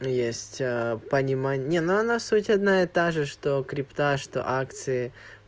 есть понимание не ну суть одна и та же что крипто что акции